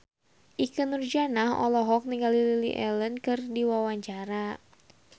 Ikke Nurjanah olohok ningali Lily Allen keur diwawancara